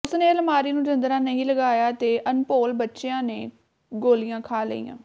ਉਸ ਨੇ ਅਲਮਾਰੀ ਨੂੰ ਜਿੰਦਰਾ ਨਹੀਂ ਲਗਾਇਆ ਤੇ ਅਣਭੋਲ ਬੱਚਿਆਂ ਨੇ ਗੋਲੀਆਂ ਖਾ ਲਈਆਂ